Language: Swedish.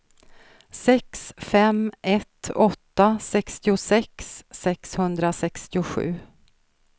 sex fem ett åtta sextiosex sexhundrasextiosju